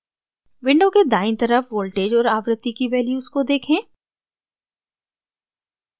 window के दायीं तरफ voltage और आवृत्ति की values को देखें